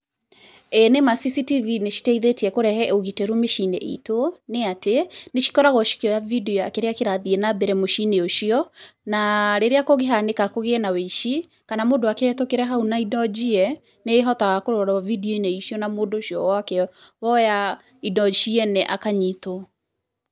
Ĩĩ nĩ ma CCTV nĩ citeithĩtie kũrehe ũgitĩru mĩciĩ-inĩ itũ, nĩ atĩ nĩ cikoragwo cikoragwo cikĩoya video ya kĩrĩa kĩrathiĩ na mbere mũciĩ-inĩ ũcio na rĩrĩa kũngĩhanĩka kũgĩe na wĩici, kana mũndũ akĩ hau na indo njie nĩhetũkĩre hau na indo njie nĩ ĩhotaga kũrorwo video -inĩ icio na mundũ ũcio woya indo ciene akanyitwo.